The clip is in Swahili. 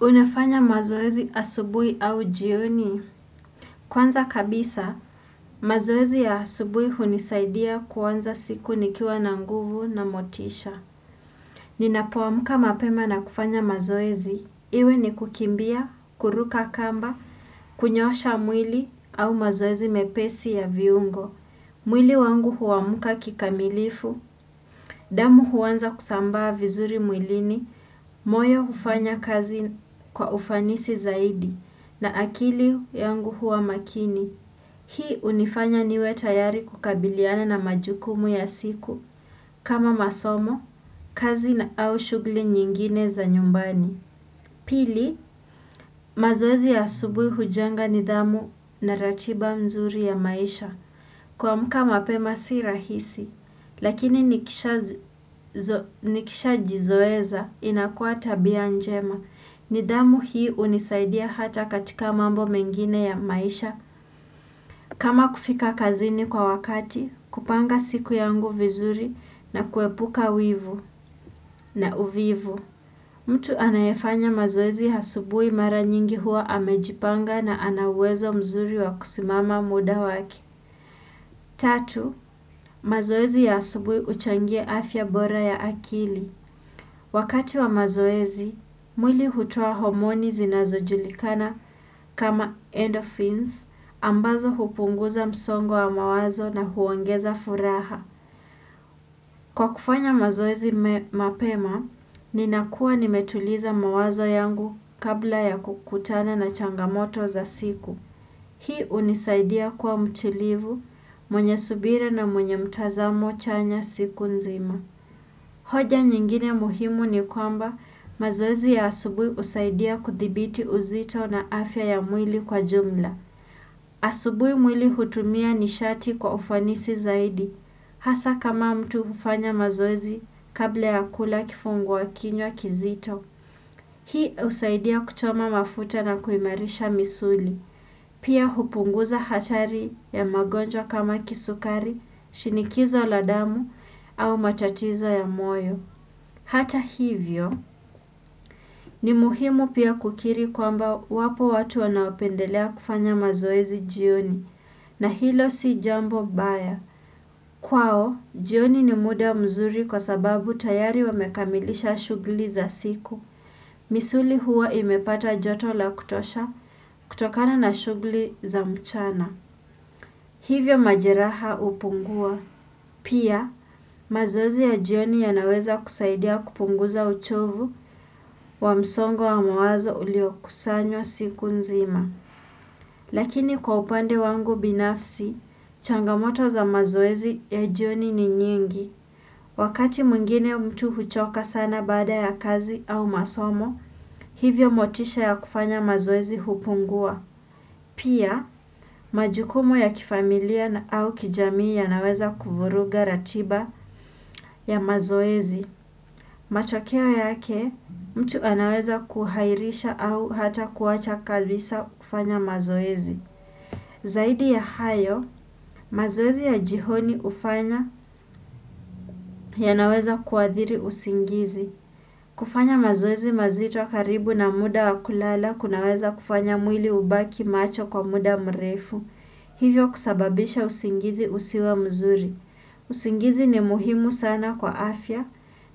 Unafanya mazoezi asubuhi au jioni? Kwanza kabisa, mazoezi ya asubuhi hunisaidia kuanza siku nikiwa na nguvu na motisha. Ninapoamka mapema na kufanya mazoezi. Iwe ni kukimbia, kuruka kamba, kunyoosha mwili au mazoezi mepesi ya viungo. Mwili wangu huamka kikamilifu, damu huanza kusambaa vizuri mwilini, moyo hufanya kazi kwa ufanisi zaidi. Na akili yangu huwa makini. Hii hunifanya niwe tayari kukabiliana na majukumu ya siku. Kama masomo, kazi na au shughuli nyingine za nyumbani. Pili, mazoezi ya asubuhi hujenga nidhamu na ratiba mzuri ya maisha. Kuamka mapema si rahisi. Lakini nikishajizoesha inakua tabia njema. Nidhamu hii hunisaidia hata katika mambo mengine ya maisha. Kama kufika kazini kwa wakati, kupanga siku yangu vizuri na kuepuka wivu na uvivu. Mtu anayefanya mazoezi asubuhi mara nyingi huwa amejipanga na ana uwezo mzuri wa kusimama muda wake. Tatu, mazoezi ya asubuhi huchangia afya bora ya akili. Wakati wa mazoezi, mwili hutua homoni zinazojulikana kama endophins ambazo hupunguza msongo wa mawazo na huongeza furaha. Kwa kufanya mazoezi mapema, ninakua nimetuliza mawazo yangu kabla ya kukutana na changamoto za siku. Hii hunisaidia kuwa mtulivu, mwenye subira na mwenye mtazamo chanya siku nzima. Hoja nyingine muhimu ni kwamba mazoezi ya asubuhi husaidia kuthibiti uzito na afya ya mwili kwa jumla. Asubui mwili hutumia nishati kwa ufanisi zaidi. Hasa kama mtu hufanya mazoezi kabla ya kula kifungua kinywa kizito. Hii husaidia kuchoma mafuta na kuimarisha misuli. Pia hupunguza hatari ya magonjwa kama kisukari, shinikizo la damu au matatizo ya moyo. Hata hivyo ni muhimu pia kukiri kwamba wapo watu wanaopendelea kufanya mazoezi jioni na hilo si jambo baya. Kwao, jioni ni muda mzuri kwa sababu tayari wamekamilisha shughuli za siku. Misuli huwa imepata joto la kutosha kutokana na shughuli za mchana. Hivyo majeraha hupungua. Pia, mazoezi ya jioni yanaweza kusaidia kupunguza uchovu wa msongo wa mawazo uliokusanywa siku nzima. Lakini kwa upande wangu binafsi, changamoto za mazoezi ya jioni ni nyingi. Wakati mwingine mtu huchoka sana baada ya kazi au masomo, hivyo motisha ya kufanya mazoezi hupungua. Pia, majukumu ya kifamilia na au kijamii yanaweza kuvuruga ratiba ya mazoezi. Matokeo yake, mtu anaweza kuhairisha au hata kuwacha kabisa kufanya mazoezi. Zaidi ya hayo, mazoezi ya jioni hufanya yanaweza kuathiri usingizi. Kufanya mazoezi mazito karibu na muda wa kulala kunaweza kufanya mwili ubaki macho kwa muda mrefu. Hivyo kusababisha usingizi usiwe mzuri. Usingizi ni muhimu sana kwa afya